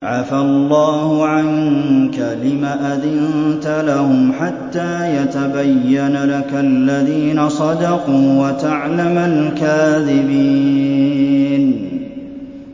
عَفَا اللَّهُ عَنكَ لِمَ أَذِنتَ لَهُمْ حَتَّىٰ يَتَبَيَّنَ لَكَ الَّذِينَ صَدَقُوا وَتَعْلَمَ الْكَاذِبِينَ